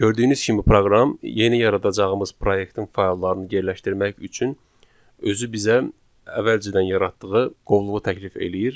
Gördüyünüz kimi proqram yeni yaradacağımız proyektin fayllarını yerləşdirmək üçün özü bizə əvvəlcədən yaratdığı qovluğu təklif eləyir.